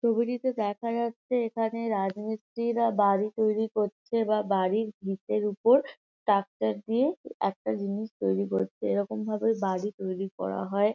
ছবিটিতে দেখা যাচ্ছে এখানে রাজমিস্ত্রিরা বাড়ি তৈরি করছে বা বাড়ির ভিটের উপর ট্রাকটার দিয়ে একটা জিনিস তৈরি করছে এরকমভাবে বাড়ি তৈরি করা হয় ।